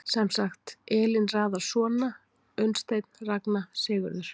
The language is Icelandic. Sem sagt, Elín raðar svona: Unnsteinn Ragna Sigurður